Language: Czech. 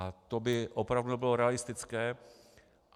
A to by opravdu nebylo realistické.